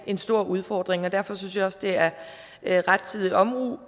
en stor udfordring lande derfor synes jeg også det er er rettidig omhu